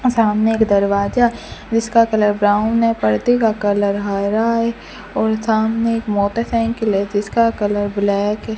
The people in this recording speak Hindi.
सामने एक दरवाजा जिसका कलर ब्राउन है पर्दे का कलर हरा है और सामने एक मोटरसाइकिल है जिसका कलर ब्लैक है।